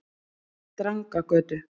Drangagötu